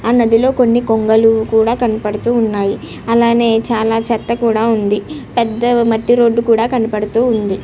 ఆ నధి లో కొని కొంగలు కూడా కనపడుతూ ఉన్నాయ్. అలానే చాల చెత్త కనబడుతూ ఉంది. పెద్ద మట్టి రోడ్ కనబడుతూ ఉంది.